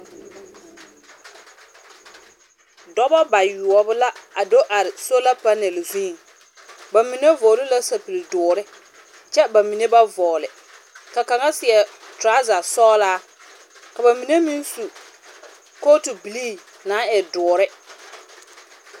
Dͻbͻ bayoͻbo la a do are sols panԑl zuŋ. Ba mine vͻgele la sapigi dõõre, kyԑ ba mine ba vͻͻle. Ka kaŋa seԑ torͻͻza sͻgelaa ka ba mine meŋ su kootu bilii na naŋ e dõõre.